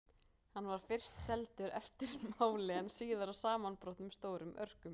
Hann var fyrst seldur eftir máli en síðar í samanbrotnum stórum örkum.